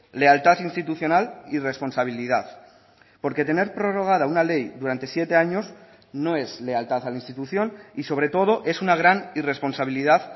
lealtad institucional y responsabilidad porque tener prorrogada una ley durante siete años no es lealtad a la institución y sobre todo es una gran irresponsabilidad